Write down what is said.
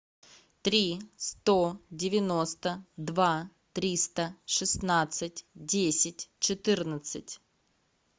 три сто девяносто два триста шестнадцать десять четырнадцать